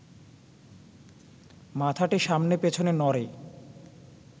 মাথাটি সামনে পেছনে নড়ে